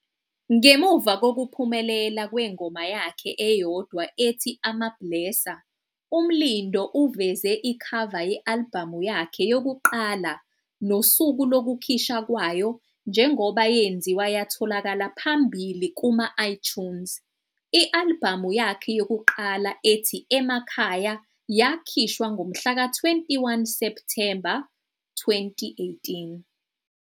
Ngemuva kokuphumelela kwengoma yakhe eyodwa ethi "AmaBlesser", uMlindo uveze ikhava ye-albhamu yakhe yokuqala nosuku lokukhishwa kwayo njengoba yenziwa yatholaka phambili kuma- iTunes. I-albhamu yakhe yokuqala ethi "Emakhaya" yakhishwa ngomhlaka 21 Septhemba 2018.